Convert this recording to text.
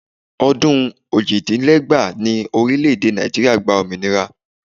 Ọdún ojì dín ní ẹgbàá ni orílẹ̀ èdè Nàìjíríà gba òmìnira